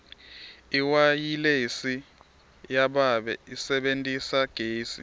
iwayilesi yababe isebentisa gesi